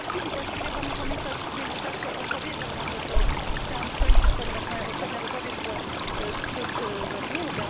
Właściwie Pan Komisarz w międzyczasie odpowiedział na pytanie, które chciałam skończyć, ponieważ moja poprzednia wypowiedź była ciut za długa.